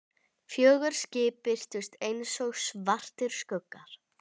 Fjögur skip birtust einsog svartir skuggar.